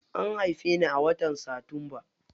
An haife ni a watan satumba.